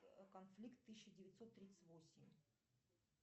конфликт тысяча девятьсот тридцать восемь